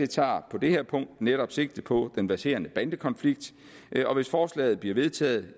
tager på det her punkt netop sigte på den verserende bandekonflikt og hvis forslaget bliver vedtaget